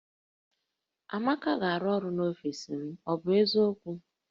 Amaka ga-arụ ọrụ n'ọfis m, ọ bụ eziokwu?